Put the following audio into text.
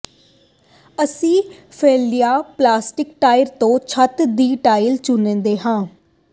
ਅਸੀਂ ਫੈਲਾਇਆ ਪੋਲੀਸਟਾਈਰੀਨ ਤੋਂ ਛੱਤ ਦੀ ਟਾਇਲ ਚੁਣਦੇ ਹਾਂ